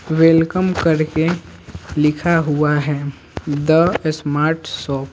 Welcome करके लिखा हुआ है द स्मार्ट शॉप ।